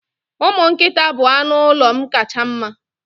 Umu nkita bụ anụ ụlọ m kacha mma.